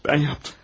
Mən yaptım.